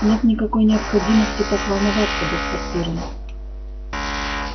нет никакой необходимости так волноваться доктор пиренн